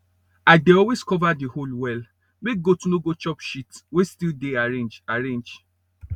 i dey always cover the hole well make goat no go chop shit wey still dey arrange arrange